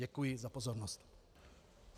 Děkuji za pozornost.